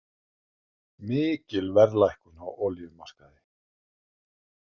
Mikil verðlækkun á olíumarkaði